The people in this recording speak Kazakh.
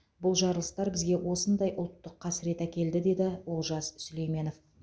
бұл жарылыстар бізге осындай ұлттық қасірет әкелді деді олжас сүлейменов